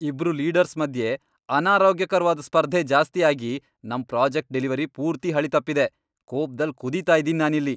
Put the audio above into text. ಇಬ್ರು ಲೀಡರ್ಸ್ ಮಧ್ಯೆ ಅನಾರೋಗ್ಯಕರ್ವಾದ್ ಸ್ಪರ್ಧೆ ಜಾಸ್ತಿ ಆಗಿ ನಮ್ ಪ್ರಾಜೆಕ್ಟ್ ಡೆಲಿವರಿ ಪೂರ್ತಿ ಹಳಿ ತಪ್ಪಿದೆ.. ಕೋಪ್ದಲ್ ಕುದೀತಾ ಇದೀನಿ ನಾನಿಲ್ಲಿ.